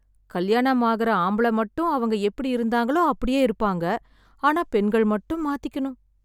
கல்யாணம் ஆயிடும் ஆம்பிள மட்டும் அவங்க எப்டி இருந்தாங்களோ அப்டியே இருப்பாங்க ஆனா பெண்கள் மட்டும் மாத்திக்கணும்